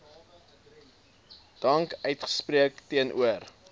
dank uitspreek teenoor